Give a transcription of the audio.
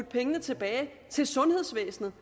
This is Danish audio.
pengene tilbage til sundhedsvæsenet